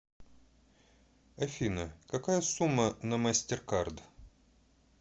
афина какая сумма на мастеркард